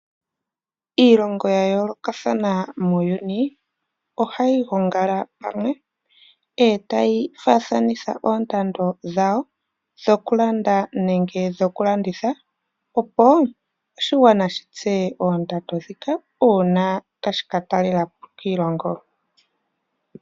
Iilongo ya yoolokatha muuyuni ohayi gongala pamwe e tayi faathanitha oondando dhawo dhokulanda nenge dhokulanitha, opo oshigwana shi tseye oondando ndhika uuna tashi ka talela po kiilongo.